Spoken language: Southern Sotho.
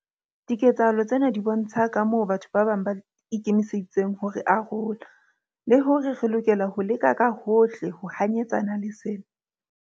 Diketsahalo tsena di bontsha kamoo batho ba bang ba ikemiseditseng ho re arola, le hore re lokela ho leka ka hohle ho hanyetsana le sena.